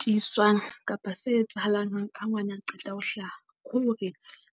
Tiswang kapa se etsahalang hang ha ngwana a qeta ho hlaha, hore